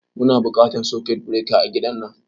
Muna buƙatan sakut bireka a gidan nan